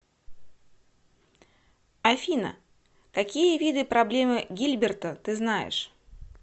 афина какие виды проблемы гильберта ты знаешь